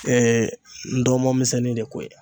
Ee ndɔnmɔn misɛnnin de ko ye